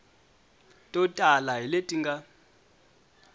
to tala hi leti nga